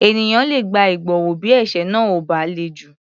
Ènìyàn le gba ìgbọ̀wọ́ bí ẹ̀ṣẹ̀ náà ò bá le jù.